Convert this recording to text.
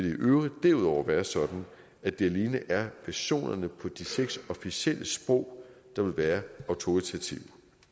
i øvrigt derudover være sådan at det alene er versionerne på de seks officielle sprog der vil være autoritative